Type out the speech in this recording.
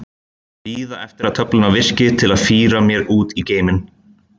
Bíða eftir að töflurnar virki til að fíra mér út í geiminn.